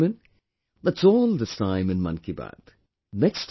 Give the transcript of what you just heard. My dear countrymen, that's allthis time in 'Mann Ki Baat'